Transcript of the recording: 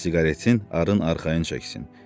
Siqaretin arın arxayın çəksin.